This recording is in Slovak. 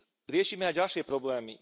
Riešime aj ďalšie problémy.